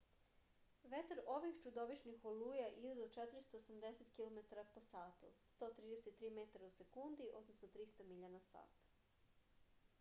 ветар ових чудовишних олуја иде до 480 km/h 133 m/s; 300 миља на сат